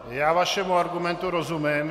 Já vašemu argumentu rozumím.